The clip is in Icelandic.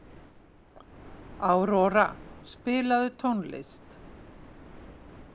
Aurora, spilaðu tónlist.